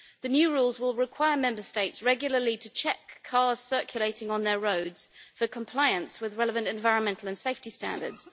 The new rules will require Member States regularly to check cars circulating on their roads for compliance with relevant environmental and safety standards.